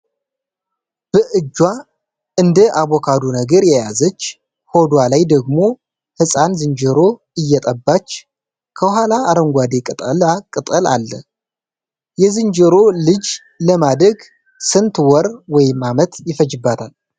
በእጇ እንደ አቦካዶ ነገር ያያዘች ሆዷ ላይ ደግሞ ሕፃን ዝንጀሮ እየጠባች ፤ ከኋላ አረንጓዴ ቅጠላ ቅጠል አለ፤ ጥያቄ :- የዝንጀሮ ልጅ ለማደግ ስንት ወር / አመት ይፈጅባታል?